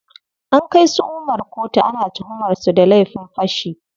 An kai su Umar koto, ana tuhumar su da laifin fashi.